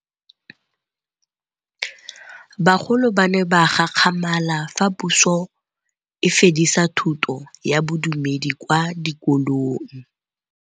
Bagolo ba ne ba gakgamala fa Pusô e fedisa thutô ya Bodumedi kwa dikolong.